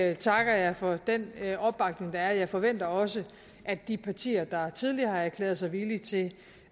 alt takker jeg for den opbakning der er jeg forventer også at de partier der tidligere har erklæret sig villige til